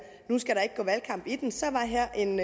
at valgkamp i den så var her en